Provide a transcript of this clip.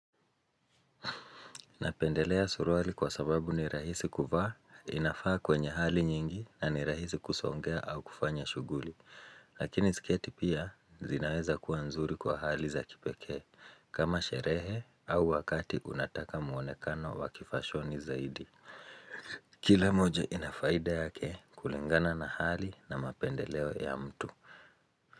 Napendelea suruali kwa sababu ni rahisi kuvaa inafaa kwenye hali nyingi na ni rahisi kusongea au kufanya shuguli. Lakini sketi pia zinaweza kuwa nzuri kwa hali za kipekee kama sherehe au wakati unataka muonekano wa kifashoni zaidi. Kila moja inafaida yake kulingana na hali na mapendeleo ya mtu.